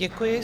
Děkuji.